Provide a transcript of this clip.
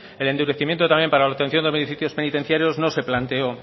el endurecimiento también para la obtención de beneficios penitenciarios no se planteó